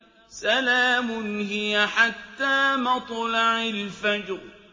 سَلَامٌ هِيَ حَتَّىٰ مَطْلَعِ الْفَجْرِ